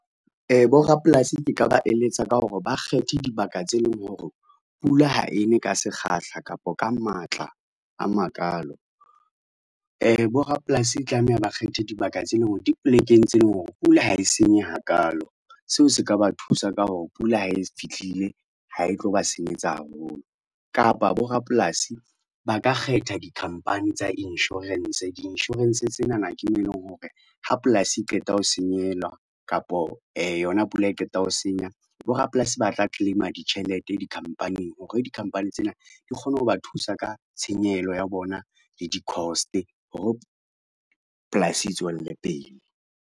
Borapolasi ke ka ba eletsa ka hore ba kgethe dibaka tse leng hore, pula ha e ne ka sekgahla kapa ka matla a makalo. Borapolasi ba tlameha ba kgethe dibaka tse leng hore di polekeng tse leng hore pula ha e senye hakalo, seo se ka ba thusa ka hore pula ha e fihlile ha e tlo ba senyetsa haholo kapa borapolasi ba ka kgetha dikhampani tsa insurance, di-insurance tsenana ke mo eleng hore ha polasi e qeta ho senyehelwa kapo yona pula e qeta ho senya borapolasi ba tla claim-a ditjhelete di-company-eng hore di-company tsena di kgone ho ba thusa ka tshenyehelo ya bona le di-cost hore polasi e tswelle pele.